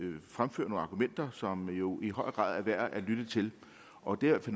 fremfører nogle argumenter som jo i høj grad er værd at lytte til og det er i